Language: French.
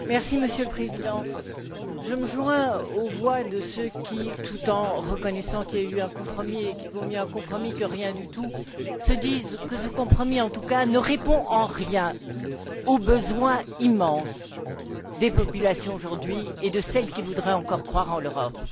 Monsieur le Président, je me joins aux voix de ceux qui, tout en reconnaissant qu'il y a eu un compromis et que mieux vaut un compromis que rien du tout, se disent que ce compromis, en tout cas, ne répond en rien aux besoins immenses des populations aujourd'hui et de celles qui voudraient encore croire en l'Europe.